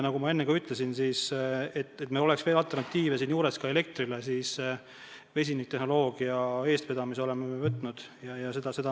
Nagu ma enne ka ütlesin, et oleks alternatiive elektrile, siis vesiniktehnoloogia eestvedamise oleme võtnud enda peale.